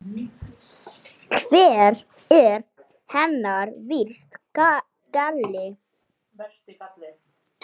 Hver er hennar versti galli?